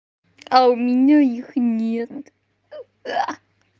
а у меня их нет